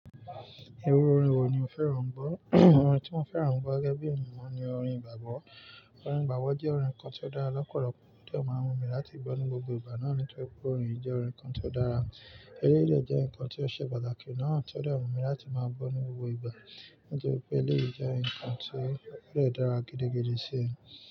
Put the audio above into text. Iru orin wo ni o fẹ́ran gbọ? Orin tí mo fẹ́ran gbọ gẹ́gẹ́ bí ènìyàn oun ni orin gbàgbọ́. Orin igbàgbọ́ jẹ́ orin kan tí ó dára lọ́pọ̀lọpọ̀, tí ó de máa wù mí láti gbọ́ ní gbogbo ìgbà náà. Nítorí pé orin yiì jẹ́ orin kan tí ó dára. Eleyii de jẹ́ nǹkan tí ó ṣe pàtàkì náà tí ó de wù mí láti máa gbọ́ ní gbogbo ìgbà. Nítorí pé eléyi jẹ́ ǹkan tí ó de dára gidigidi sí i.